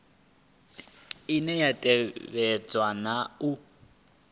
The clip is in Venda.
ine ya tevhedza na u